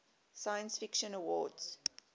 science fiction awards